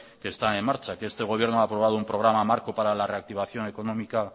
que están en marcha que este gobierno ha aprobado un programa marco para la reactivación económica